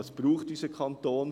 Was braucht unser Kanton?